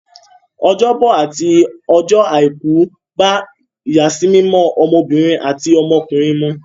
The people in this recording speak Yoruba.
Ọjọ́bọ̀ àti ọjọ́ Àìkú bá ìyàsímímọ́ ọmọbìnrin àti ọmọkùnrin mu.